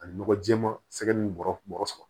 Ani nɔgɔ jɛɛma sɛgɛn ni bɔrɔ saba